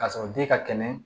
K'a sɔrɔ den ka kɛnɛ